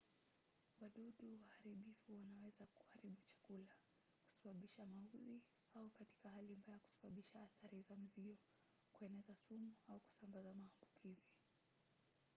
wadudu waharibifu wanaweza kuharibu chakula kusababisha maudhi au katika hali mbaya kusababisha athari za mzio kueneza sumu au kusambaza maambukizi